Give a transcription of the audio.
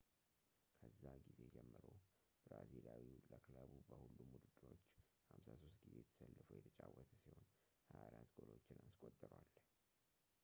ከዛ ጊዜ ጀምሮ ብራዚሊያዊው ለክለቡ በሁሉም ውድድሮች 53 ጊዜ ተሰልፎ የተጫወተ ሲሆን 24 ጎሎችን አስቆጥሯል